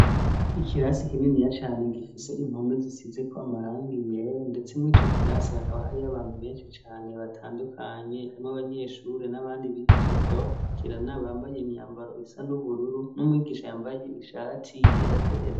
Ikirasi ikininiya cane gifise inpomi zisize ko amarango iwera, ndetse mwo ico kirasi hakaba hariyo abantu benshi cane batandukanye harimwo abanyeshuri n'abandi bigisha bakaba abakurikirana bambaye imyambaro isa n'ubururu n'umwigisha yambaye ishati yera derere.